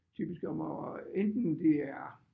Typisk om at enten det er